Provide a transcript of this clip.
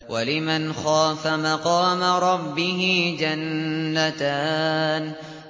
وَلِمَنْ خَافَ مَقَامَ رَبِّهِ جَنَّتَانِ